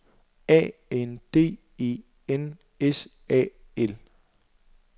A N D E N S A L